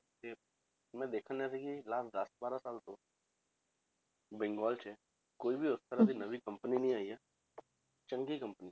ਤੇ ਮੈਂ ਦੇਖ ਰਿਹਾ ਸੀ ਕਿ last ਦਸ ਬਾਰਾਂ ਸਾਲ ਤੋਂ ਬੰਗਾਲ 'ਚ ਕੋਈ ਵੀ ਉਸ ਤਰ੍ਹਾਂ ਦੀ ਨਵੀਂ company ਨੀ ਆਈਆਂ ਚੰਗੀ company